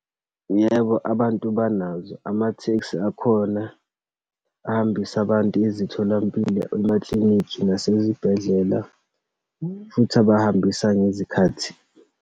Yebo, abantu banazo. Amathekisi akhona, ahambise abantu ezitholampilo, emaklinikhi nasezibhedlela, futhi abahambisa ngezikhathi.